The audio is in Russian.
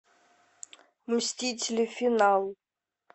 мстители финал